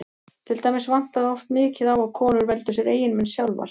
Til dæmis vantaði oft mikið á að konur veldu sér eiginmenn sjálfar.